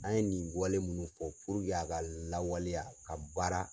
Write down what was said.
An ye nin wale munnu puruke a ka lawaleya a ka baara